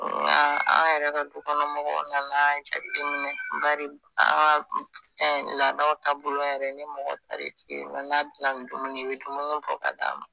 Nka an yɛrɛ ka dukɔnɔmɔgɔw nana jateminɛ an ka fɛn laada taabolo bolo yɛrɛ ni mɔgɔ taar'i eyinɔ n'a bi na ni dumuni ye i bi dumuni bɔ ka d'a ma.